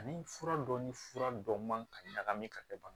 Ani fura dɔ ni fura dɔ man ka ɲagami ka kɛ bana